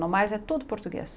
No mais, é tudo português.